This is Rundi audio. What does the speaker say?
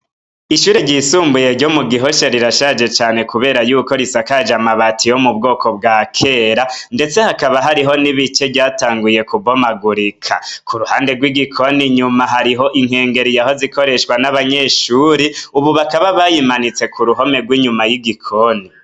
Ishure ryisumbuye ryo mu Gihosha rirashaje cane kubera yuko risakaje amabati yo mu bwoko bwa kera. Ndetse hakaba hariho n'ibice ryatanguye kubomagurika. Ku ruhande rw'igikoni inyuma hariho inkengeri yahoze ikoreshwa n'abanyeshuri. Ubu bakaba bayimanitse ku ruhome rw'inyuma y'igikoni.